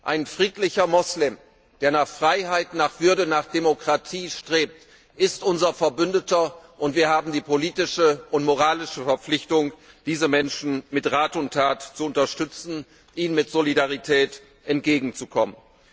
Ein friedlicher Moslem, der nach Freiheit, nach Würde, nach Demokratie strebt, ist unser Verbündeter, und wir haben die politische und moralische Verpflichtung, diese Menschen mit Rat und Tat zu unterstützen, ihnen mit Solidarität entgegenzukommen.